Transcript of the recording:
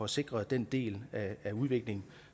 sikret den del af udviklingen